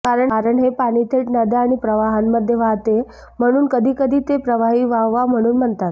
कारण हे पाणी थेट नद्या आणि प्रवाहांमध्ये वाहते म्हणून कधीकधी ते प्रवाही वाहवा म्हणून म्हणतात